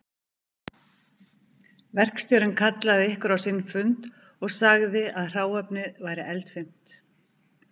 Verkstjórinn kallaði ykkur á sinn fund og sagði að hráefnið væri eldfimt